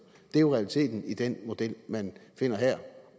det er jo realiteten i den model man finder her